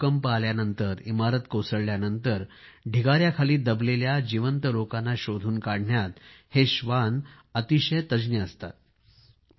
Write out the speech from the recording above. कुठे भूकंप आल्यानंतर इमारत कोसळल्यानंतर ढिगायाखाली गाडले गेलेल्या जीवित लोकांना शोधून काढण्यात हे श्वान अतिशय तज्ज्ञ असतात